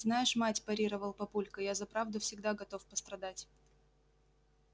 знаешь мать парировал папулька я за правду всегда готов пострадать